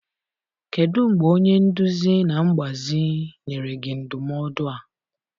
Kedụ mgbe onye nduzi na mgbazi nyere gị ndụmọdụ a?